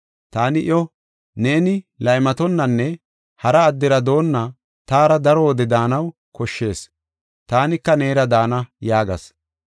Taani iyo, “Neeni laymatonnanne hara addera doonna taara daro wode daanaw koshshees. Taanika neera daana” yaagas.